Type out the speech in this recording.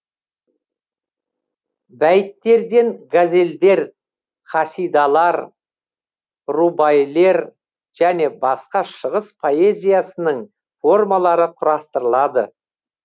бәйттерден газелдер қасидалар рубаилер және басқа шығыс поэзиясының формалары құрастырылады